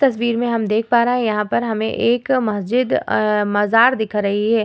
तस्वीर में हम देख पा रहे है यहां पर हमें एक मस्जिद अ मज़ार दिख रही है ।